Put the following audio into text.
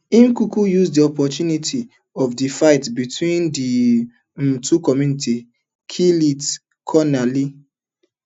im kuku use di opportunity of di fight between di um two communities kill lt col ali